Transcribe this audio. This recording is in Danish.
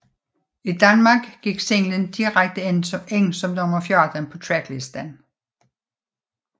I Danmark gik singlen direkte ind som nummer 14 på tracklisten